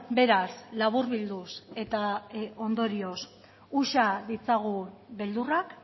beraz laburbilduz eta ondorioz uxa ditzagun beldurrak